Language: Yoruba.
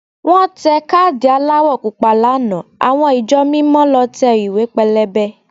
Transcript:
Wọ́n tẹ káàdì aláwọ̀ Pupa lánàá àwọn ìjọ mímọ lọ tẹ ìwé pélébé